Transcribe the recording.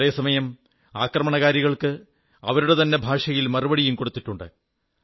അതേ സമയം ആക്രമണകാരികൾക്ക് അവരുടെ തന്നെ ഭാഷയിൽ മറുപടിയും കൊടുത്തിട്ടുണ്ട്